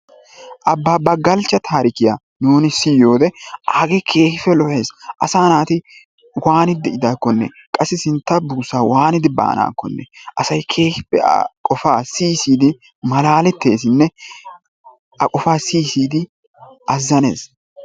Abbaaba Galchcha tarikkiyaa nuuni siyoode aagee keehippe lo"ees. asaa naati waanidi de"idaakkonne qassi sintta buussaa waanidi baanakkonne asay keehippe a qofaa siyi siyidi malaaletteesinne a qofaa siyi siyid azzanees.